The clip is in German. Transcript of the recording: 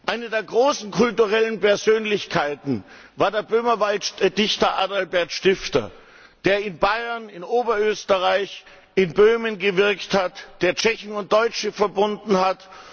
Eine der großen kulturellen Persönlichkeiten war der Böhmerwalddichter Adalbert Stifter, der in Bayern, Oberösterreich und Böhmen gewirkt hat, der Tschechen und Deutsche verbunden hat.